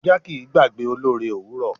Ajá kì í gbàgbé olóore òwúrọ̀.